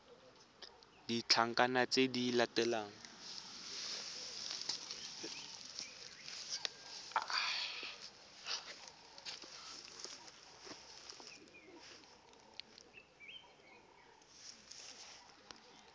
le ditlankana tse di latelang